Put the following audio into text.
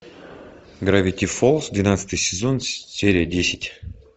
гравити фолз двенадцатый сезон серия десять